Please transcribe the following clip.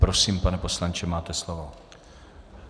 Prosím, pane poslanče, máte slovo.